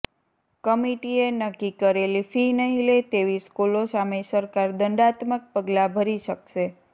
કમિટીએ નક્કી કરેલી ફી નહીં લે તેવી સ્કૂલો સામે સરકાર દંડાત્મક પગલાં ભરી શકશે